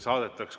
Saadetakse.